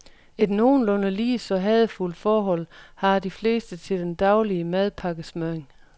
Et nogenlunde ligeså hadefuldt forhold har de fleste til den daglige madpakkesmøring.